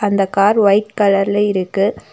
அந்த car white கலர்ல இருக்கு.